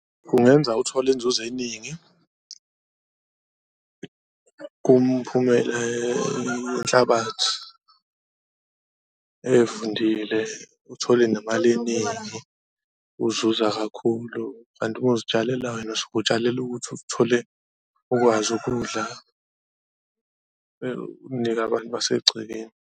Kungenza uthole inzuzo eningi kumphumela yenhlabathi evundile uthole nemali eningi, uzuza kakhulu. Kanti uma uzitshalela wena usuke utshalela ukuthi uthole ukwazi ukudla, unike abantu basegcekeni.